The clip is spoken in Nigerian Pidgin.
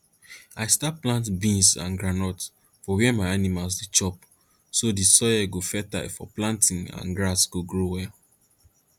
i start plant beans and groundnut for where my animals dey chop so the soil go fertile for planting and grass go grow well